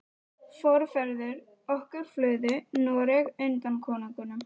Forfeður okkar flúðu Noreg undan konungum.